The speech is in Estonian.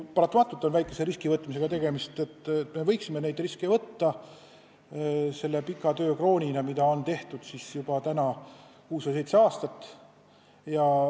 Paratamatult on väikse riski võtmisega tegemist ja me võiksime neid riske võtta selle pika töö krooniks, mida tänaseks on tehtud juba kuus või seitse aastat.